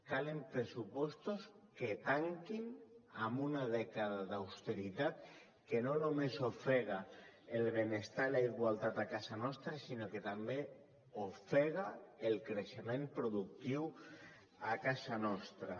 calen pressupostos que tanquin amb una dècada d’austeritat que no només ofega el benestar i la igualtat a casa nostra sinó que també ofega el creixement productiu a casa nostra